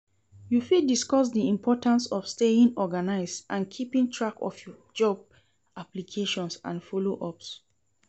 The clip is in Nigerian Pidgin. You fit discuss di importance of staying organized and keeping track of your job applications and follow-ups.